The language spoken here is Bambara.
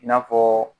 I n'a fɔ